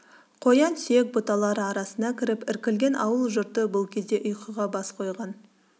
қоян сүйек бұталары арасына кіріп іркілген ауыл жұрты бұл кезде ұйқыға бас қойган